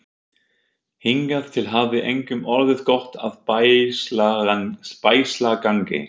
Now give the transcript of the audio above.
Hingað til hafði engum orðið gott af bægslagangi.